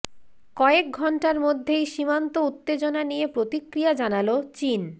কয়েক ঘণ্টার মধ্যেই সীমান্ত উত্তেজনা নিয়ে প্রতিক্রিয়া জানাল চিন